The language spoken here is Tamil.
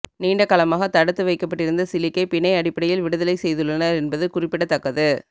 நீண்ட காலமாக தடுத்து வைக்கப்பட்டிருந்த கிலிக்கை பிணை அனுப்படையில் விடுதலை செய்துள்ளனர் என்பது குறிப்பிடத்தக்கது